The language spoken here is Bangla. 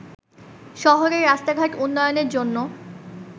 শহরের রাস্তাঘাট উন্নয়নের জন্য